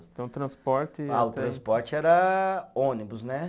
Então o transporte. Ah o transporte era ônibus, né?